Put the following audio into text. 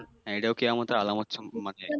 হ্যাঁ, এটাও কেয়ামতের আলামত সম্পর্কে মানে